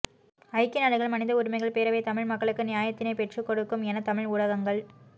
ஐக்கிய நாடுகள் மனித உரிமைகள் பேரவை தமிழ் மக்களுக்கு நியாயத்தினை பெற்றுக்கொடுக்கும் என தமிழ் ஊடகங்கள்